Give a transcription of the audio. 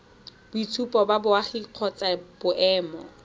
boitshupo ba boagi kgotsa boemo